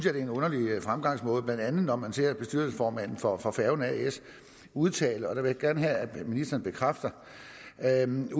er en underlig fremgangsmåde blandt andet når man ser bestyrelsesformanden for for færgen as udtale og det vil jeg gerne have at ministeren bekræfter at man